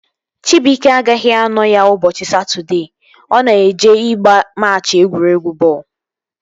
Chibuike agaghị anọ ya ụbọchị Satọdee, ọ na-eje ịgba machị egwuregwu bọọlụ